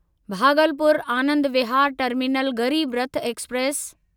Bhagalpur Anand Vihar terminal Garib Rath express